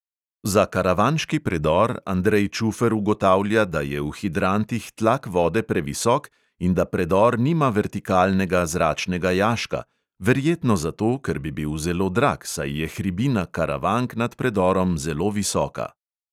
Za karavanški predor andrej čufer ugotavlja, da je v hidrantih tlak vode previsok in da predor nima vertikalnega zračnega jaška – verjetno zato, ker bi bil zelo drag, saj je hribina karavank nad predorom zelo visoka.